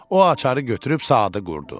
O açarı götürüb saatı qurdu.